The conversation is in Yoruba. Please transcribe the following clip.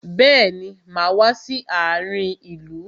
Bẹẹni, máa wá sí àárin ìlú.